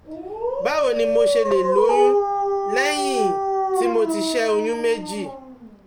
Báwo ni mo ṣe lè lóyún lẹ́yìn tí mo ti ṣẹ́ oyún méjì?